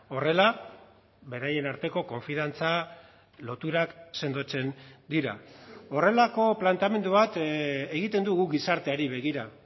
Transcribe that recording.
horrela beraien arteko konfiantza loturak sendotzen dira horrelako planteamendu bat egiten dugu gizarteari begira